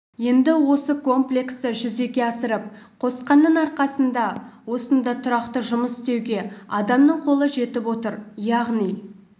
енді осы комплексті жүзеге асырып қосқанның арқасында осында тұрақты жұмыс істеуге адамның қолы жетіп отыр яғни